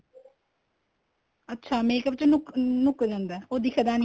ਅੱਛਾ makeup ਚ ਲੁੱਕ ਲੁੱਕ ਜਾਂਦਾ ਏ ਉਹ ਦਿੱਖਦਾ ਨੀ